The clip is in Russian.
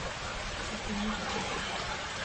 сухиничам